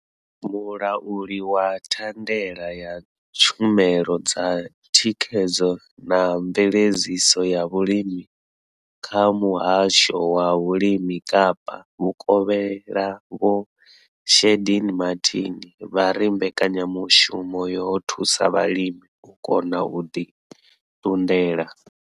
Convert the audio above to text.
Mulauli wa thandela ya tshumelo dza thikhedzo na mveledziso ya vhulimi kha muhasho wa vhulimi Kapa vhukovhela Vho Shaheed Martin vha ri mbekanyamushumo yo thusa vhalimi u kona u ḓi ṱunḓela.